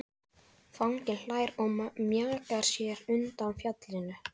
Fanginn hlær og mjakar sér undan fjallinu.